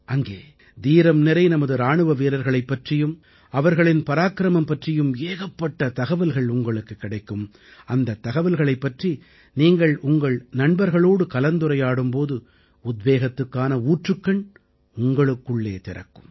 அங்கே தீரம் நிறை நமது இராணுவ வீரர்களைப் பற்றியும் அவர்களின் பராக்கிரமம் பற்றியும் ஏகப்பட்ட தகவல்கள் உங்களுக்குக் கிடைக்கும் அந்தத் தகவல்களைப் பற்றி நீங்கள் உங்கள் நண்பர்களோடு கலந்துரையாடும் போது உத்வேகத்துக்கான ஊற்றுக்கண் உங்களுக்குள்ளே திறக்கும்